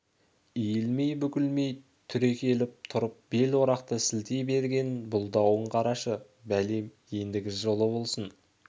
иілмей-бүгілмей түрекеліп тұрып бел орақты сілтей бергенін бұлдауын қарашы бәлем ендігі жылы болсын